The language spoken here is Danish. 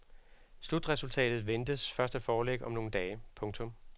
Slutresultatet ventes først at foreligge om nogle dage. punktum